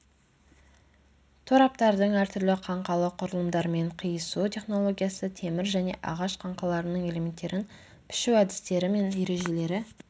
тораптардың әртүрлі қаңқалы құрылымдармен қиысу технологиясы темір және ағаш қаңқаларының элементтерін пішу әдістері мен ережелері